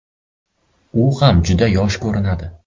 U ham juda yosh ko‘rinadi.